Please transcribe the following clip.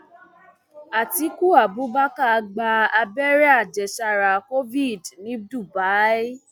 àtiku abubakar gba abẹrẹ àjẹsára covid ní dubai